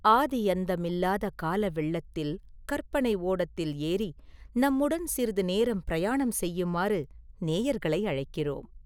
ஆதி அந்தமில்லாத கால வெள்ளத்தில் கற்பனை ஓடத்தில் ஏறி நம்முடன் சிறிது நேரம் பிரயாணம் செய்யுமாறு நேயர்களை அழைக்கிறோம்.